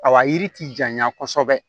A wa yiri ti janya kosɛbɛ